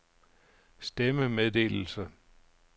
stemmemeddelelse